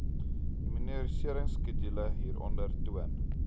immuniseringskedule hieronder toon